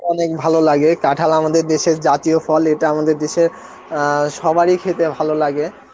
অনেক ভালো লাগে, কাঁঠাল আমাদের দেশের জাতীয় ফল এটা আমাদের দেশের অ্যাঁ সবার এ খেতে ভালো লাগে